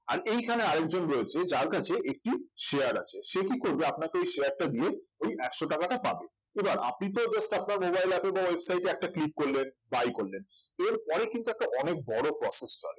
আর এইখানে আর একজন রয়েছে যার কাছে একটি share আছে সে কি করবে আপানাকে ওই share টা দিয়ে ওই একশো টাকাটা পাবে এবার আপনি তো just আপনার mobile আছে ওই website এ একটা click করলেন buy করলেন এর পরে কিন্তু একটা অনেক বড় process চলে